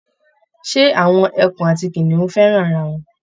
Ṣé awọn ẹkùn àti kìnìún fẹ́ràn ara wọn?